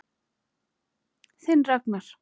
Þinn Ragnar.